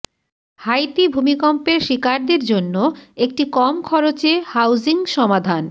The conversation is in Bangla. হাইতি ভূমিকম্পের শিকারদের জন্য একটি কম খরচে হাউজিং সমাধান